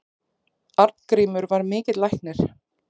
Arngrímur var mikill læknir.